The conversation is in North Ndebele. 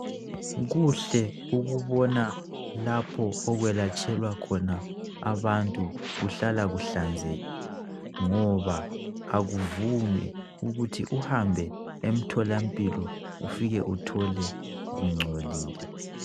Kuhle ukubona lapho okuyelatshelwa khona abantu kuhlala kuhlanzekile ngoba akuvumi ukuthi uhambe emthola mpilo ufike uthole kungcolile